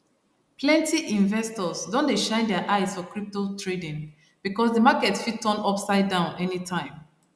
plenty investors don dey shine their eyes for crypto trading because di market fit turn upsidedown anytime